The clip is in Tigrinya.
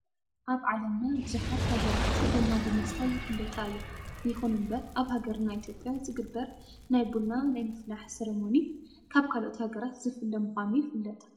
ኣብ ዓለምና ብዙሓት ሃገራት ቡና ብምስታይ ይፍለጣ እየን። ይኹን እምበር ኣብ ሃገርና ኢትዮጵያ ዝግበር ናይ ቡና ናይ ምፍላሕ ሰርሞኒ ካብ ካልኦት ሃገራት ዝፍለ ምኳኑ ይፍለጥ።